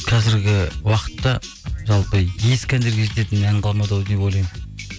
қазіргі уақытта жалпы ескі әндерге жететін ән қалмады ау деп ойлаймын